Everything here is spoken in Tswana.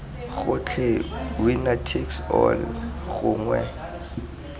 gotlhe winner takes all gongwe